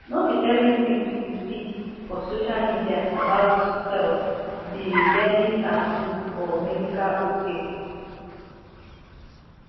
no be everything you see for social media about health be dennisapproved or medical ok